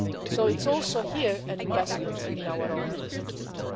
So it's also here an investment in our own security.